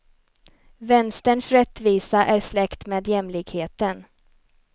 Vänsterns rättvisa är släkt med jämlikheten.